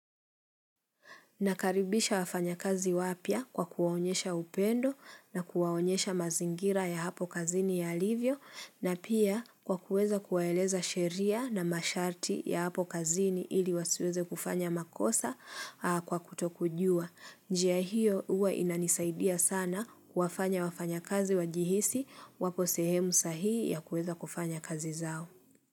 Nakaribisha wafanya kazi wapya kwa kuwaonyesha upendo na kuwaonyesha mazingira ya hapo kazini yalivyo na pia kwa kuweza kuwaeleza sheria na masharti ya hapo kazini ili wasiweze kufanya makosa kwa kutokujua. Njia hiyo huwa inanisaidia sana kuwafanya wafanya kazi wajihisi waposehemu sahihi ya kuweza kufanya kazi zao.